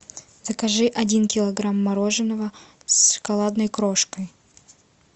закажи один килограмм мороженого с шоколадной крошкой